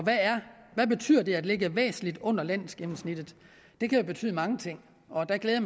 hvad betyder det at ligge væsentligt under landsgennemsnittet det kan jo betyde mange ting og der glæder